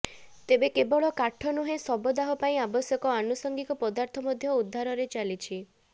ତେବେ କେବଳ କାଠ ନୁହେଁ ଶବ ଦାହ ପାଇଁ ଆବଶ୍ୟକ ଆନୁସଙ୍ଗିକ ପଦାର୍ଥ ମଧ୍ୟ ଉଧାରରେ ଚାଲିଛି